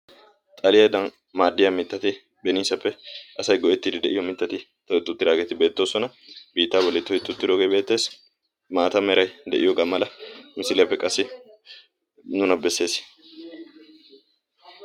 xaliyaadan maaddiya mittati beniisappe asay goettiidi de'iyo mittati to ixxuttidaageeti beettoosona biittaa boli toixxuttidoogee beettees maata merai de'iyoogaa mala misiliyaappe qassi nuna bessees